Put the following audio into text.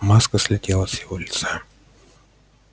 маска слетела с его лица